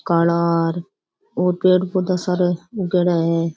काला आर और पेड़ पौधा सार उगेड़ा है।